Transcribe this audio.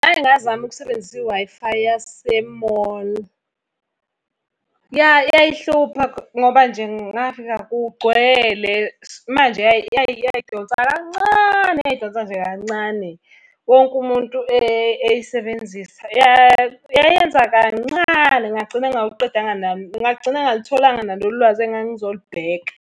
Ngake ngazama ukusebenzisa i-Wi-Fi yase-mall. Ya yayihlupha ngoba nje ngafika kugcwele, manje yayidonsa kancane, yayidonsa nje kancane. Wonke umuntu eyisebenzisa, yayenza kancane ngagcina ngingawuqedanga , ngagcina ngingalutholanga nalolu lwazi engangizolubheka.